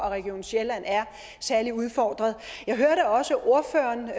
og region sjælland er særlig udfordret jeg hørte også ordføreren